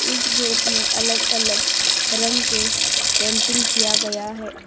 इस गेट में अलग अलग रंग के पेंटिंग किया गया है।